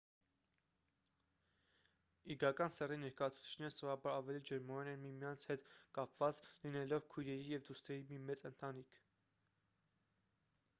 իգական սեռի ներկայացուցիչները սովորաբար ավելի ջերմորեն են միմյանց հետ կապված լինելով քույրերի և դուստրերի մի մեծ ընտանիք